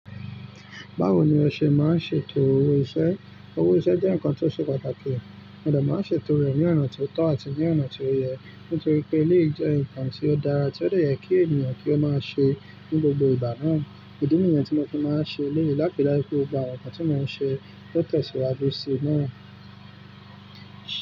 Báwo ni o ṣe máa ń ṣètò owó iṣẹ́? Owó iṣẹ́ jẹ́ nǹkan tó ṣe pàtàkì. Ǹjẹ́ máa ń ṣètò rẹ̀ ní ọ̀nà tó tọ́ àti ní ọ̀nà tí ó yẹ? Nítorí pé eleyi jẹ́ nǹkan tí ó dára, tí ó de yẹ kí ènìyàn kí ó máa ṣe ní gbogbo ìgbà náà. Idí nìyẹn tí mo ti máa ń ṣe eleyi láti láti ri pẹ́ daju gbogbo àwọn nǹkan tí mo ń ṣe o tẹ̀síwájú sí i náà.